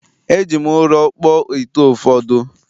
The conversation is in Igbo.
E ji ụrọ kpụọ ite ụfọdụ